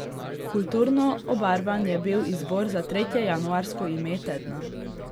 Kulturno obarvan je bil izbor za tretje januarsko ime tedna.